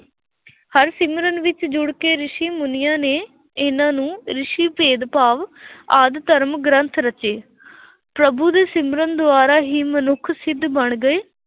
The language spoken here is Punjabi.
ਹਰਿ ਸਿਮਰਨ ਵਿੱਚ ਜੁੜ ਕੇ ਰਿਸ਼ੀ ਮੁਨੀਆਂ ਨੇ ਇਹਨਾਂ ਨੂੰ ਰਿਸ਼ੀ ਭੇਦਭਾਵ ਆਦਿ ਧਰਮ ਗ੍ਰੰਥ ਰਚੇ ਪ੍ਰਭੂ ਦੇ ਸਿਮਰਨ ਦੁਆਰਾ ਹੀ ਮਨੁੱਖ ਸਿੱਧ ਬਣ ਗਏ